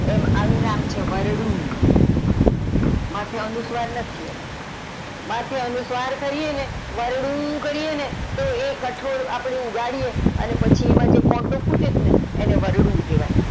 એમ અનુ નામ છે વરડુ, માથે અનુસ્વાર નથી એમાં માથે અનુસ્વાર કરીએ ને તો વરડું કરીએ ને તો એ કઠોળ ઉગાડીએ એનો કોટો ફૂટે ને વરડું કેવાય.